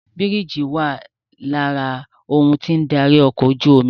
Bírìjì wà lára ohun tí ó ń darí ọkọ̀ ojú omi